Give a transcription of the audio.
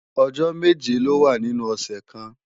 Ọjọ́ méje ló wà nínú ọ̀sẹ̀ kan